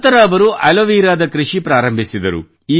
ನಂತರ ಅವರು ಆಲೋವೆರಾದ ಕೃಷಿ ಪ್ರಾರಂಭಿಸಿದರು